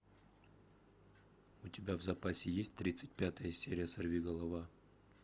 у тебя в запасе есть тридцать пятая серия сорвиголова